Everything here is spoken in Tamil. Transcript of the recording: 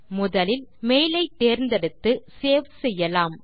முதலில் மெயில் ஐ தேர்ந்தெடுத்து சேவ் செய்யலாம்